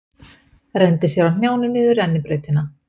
Renndi sér á hnjánum niður rennibrautina.